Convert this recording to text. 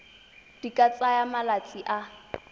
di ka tsaya malatsi a